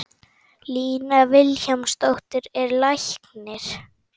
Lína Vilhjálmsdóttir er læknir.